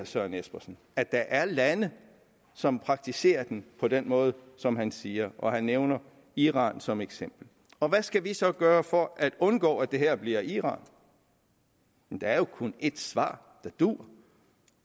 søren espersen at der er lande som praktiserer den på den måde som han siger og han nævner iran som eksempel og hvad skal vi så gøre for at undgå at det her bliver iran der er jo kun et svar der duer